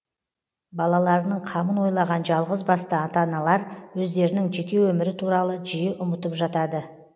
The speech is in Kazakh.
балаларының қамын ойлаған жалғыз басты ата аналар өздерінің жеке өмірі туралы жиі ұмытып жатады